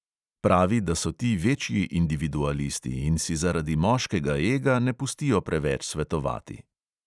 Pravi, da so ti večji individualisti in si zaradi moškega ega ne pustijo preveč svetovati.